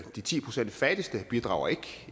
de ti procent fattigste bidrager ikke